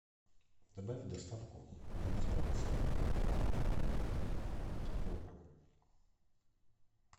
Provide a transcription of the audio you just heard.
добавь в доставку майонез провансаль килограмм